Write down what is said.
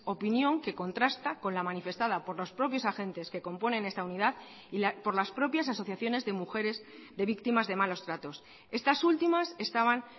opinión que contrasta con la manifestada por los propios agentes que componen esta unidad y por las propias asociaciones de mujeres de víctimas de malos tratos estas últimas estaban